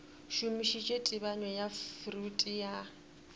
šomišitše tebanyo ya freud ya